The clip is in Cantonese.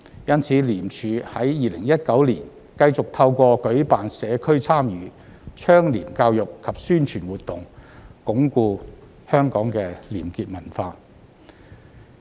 因此，廉署在2019年繼續透過舉辦社區參與、倡廉教育及宣傳活動，鞏固香港的廉潔文化。